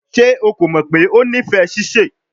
Ṣe o ko mọ pe o nifẹ sise?